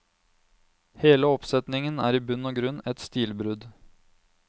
Hele oppsetningen er i bunn og grunn et stilbrudd.